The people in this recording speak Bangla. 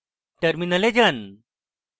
terminal যান